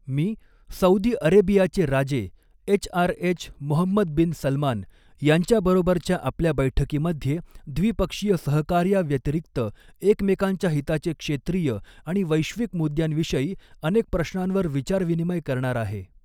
मी Saudi अरेबियाचे राजे HRH Mohammed bin Salman यांच्याबरोबरच्या आपल्या बैठकीमध्ये व्दिपक्षीय सहकार्याव्यतिरिक्त एकमेकांच्या हिताचे क्षेत्रीय आणि वैश्विक मुद्यांविषयी अनेक प्रश्नांवर विचार विनिमय करणार आहे.